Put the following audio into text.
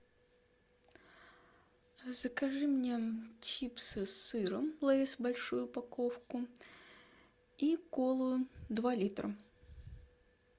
закажи мне чипсы с сыром лейс большую упаковку и колу два литра